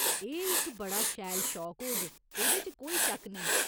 एह् इक बड़ा शैल शौक होग, एह्दे च कोई शक्क नेईं।